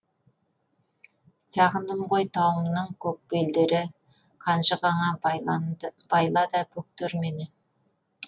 сағындым ғой тауымның көк белдері қанжығаңа байла да бөктер мені